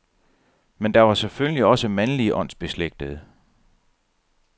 Men der var selvfølgelig også mandlige åndsbeslægtede.